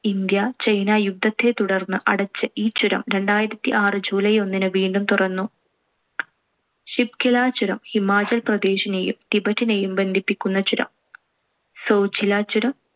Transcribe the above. India China യുദ്ധത്തെ തുടർന്ന് അടച്ച് ഈ ചുരം രണ്ടായിരത്തിആറ് july ഒന്നിന് വീണ്ടും തുറന്നു. ഷിപ്കിലാ ചുരം, ഹിമാചൽ പ്രദേശിനെയും ടിബറ്റിനേയും ബന്ധിപ്പിക്കുന്ന ചുരം. സോജിലാ ചുരം